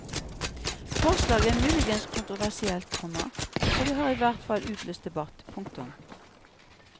Forslaget er muligens kontroversielt, komma og det har i hvert fall utløst debatt. punktum